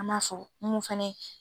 An b'a fɔ mun fana ye